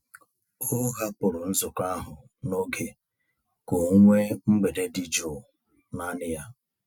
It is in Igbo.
O hapụrụ nzukọ ahụ n'oge ka o nwee mgbede dị jụụ naanị ya.